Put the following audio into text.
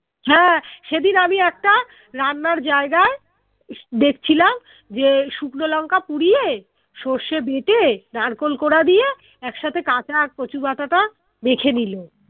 হ্যাঁ সেদিন আমি একটা রান্নার জায়গায় দেখছিলাম শুকনো লঙ্কা পুড়িয়ে সর্ষে বেঁটে নারকোল কোঁড়া দিয়ে একসাথে কাঁচা কচু বাঁটা টা মেখে নিলো